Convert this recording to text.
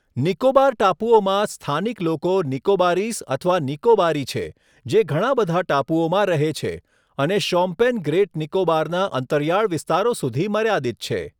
નિકોબાર ટાપુઓમાં, સ્થાનિક લોકો નિકોબારીઝ અથવા નિકોબારી છે, જે ઘણા બધા ટાપુઓમાં રહે છે, અને શોમ્પેન ગ્રેટ નિકોબારના અંતરિયાળ વિસ્તારો સુધી મર્યાદિત છે.